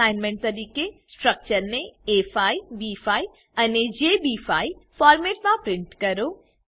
assignment તરીકે સ્ટ્રક્ચરને A five B five અને જેબી5 ફોરમેટમાં પ્રિન્ટ કરો